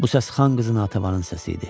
Bu səs Xan qızının Natavanın səsi idi.